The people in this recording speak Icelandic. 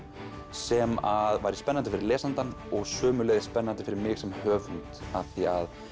sem væri spennandi fyrir lesandann og sömuleiðis spennandi fyrir mig sem höfund af því að